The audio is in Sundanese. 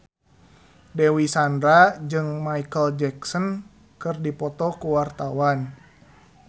Dewi Sandra jeung Micheal Jackson keur dipoto ku wartawan